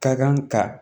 Ka kan ka